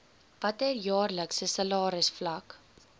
watter jaarlikse salarisvlak